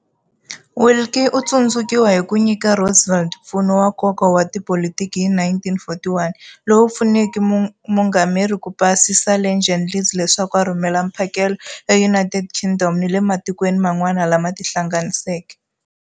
Willkie u tsundzukiwa hi ku nyika Roosevelt mpfuno wa nkoka wa tipolitiki hi 1941, lowu pfuneke muungameri ku pasisa Lend-Lease leswaku a rhumela mphakelo eUnited Kingdom ni le matikweni man'wana lama Tihlanganiseke.